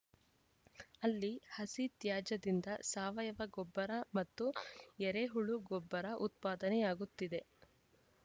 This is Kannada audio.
ಅಲ್ಲಿ ಹಸಿ ತ್ಯಾಜ್ಯದಿಂದ ಸಾವಯವ ಗೊಬ್ಬರ ಮತ್ತು ಎರೆಹುಳು ಗೊಬ್ಬರ ಉತ್ಪಾದನೆಯಾಗುತ್ತಿದೆ